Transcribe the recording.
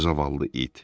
Zavallı it!